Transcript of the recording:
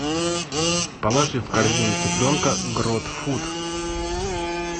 положи в корзину цыпленка гродфуд